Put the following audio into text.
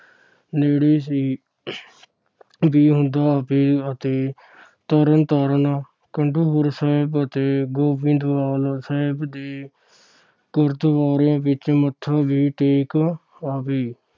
ਨੇੜੇ ਸੀ ਦਿਆਉਦਾ ਅਤੇ ਅਤੇ ਤਰਨਤਾਰਨ, ਖਡੂਰ ਸਾਹਿਬ ਅਤੇ ਗੋਇੰਦਵਾਲ ਸਾਹਿਬ ਦੇ ਗੁਰਦਵਾਰਿਆਂ ਵਿਚ ਮੱਥਾ ਵੀ ਟੇਕ ਆਵੇ।